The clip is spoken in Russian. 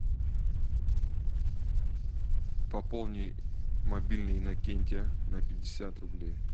пополни мобильный иннокентия на пятьдесят рублей